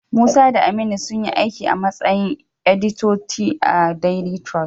Musa da Aminu sunyi aiki a matsayin editoti a daili tirus.